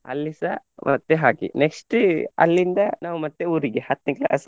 ಅಲ್ಲಿಸಾ ಮತ್ತೆ ಹಾಗೆ next ಅಲ್ಲಿಂದ ನಾವು ಮತ್ತೆ ಊರಿಗೆ ಹತ್ನೆ class .